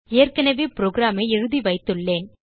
ஏற்கனவே programஐ எழுதிவைத்துள்ளேன்